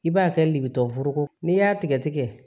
I b'a kɛ de bi tɔ furogoko n'i y'a tigɛ tigɛ